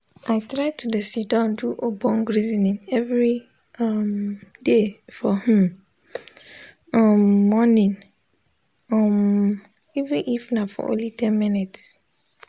i try to de sitdon do ogbonge resoning everi um day for hmm um moring um even if nah for only ten mins